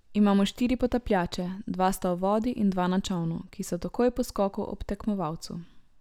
Imamo štiri potapljače, dva sta v vodi in dva na čolnu, ki so takoj po skoku ob tekmovalcu.